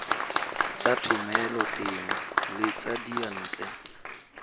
tsa thomeloteng le tsa diyantle